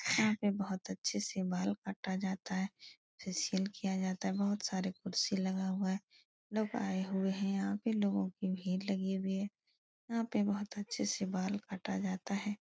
यहाँ पे बहुत अच्छे से बाल काटा जाता है। फेसिअल किया जाता है। बहुत सारे कुर्सी लगा हुआ है। लोग आये हुए है यहाँ पे लोगो की भीड़ लगी हुई है। यहाँ पे अच्छे से बाल काटा जाता है।